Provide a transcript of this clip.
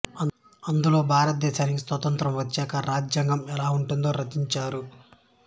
అందులో భారతదేశానికి స్వాతంత్ర్యం వచ్చాక రాజ్యాంగం ఎలా ఉండాలో రచించారు